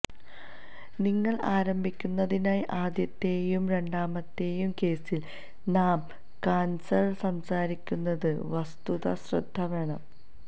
നിങ്ങൾ ആരംഭിക്കുന്നതിനായി ആദ്യത്തെയും രണ്ടാമത്തെയും കേസിൽ നാം കാൻസർ സംസാരിക്കുന്നത് വസ്തുത ശ്രദ്ധ വേണം